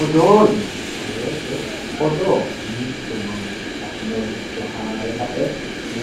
Odoo yineemmo woyte odoo mitu manchi affinoricho haare kae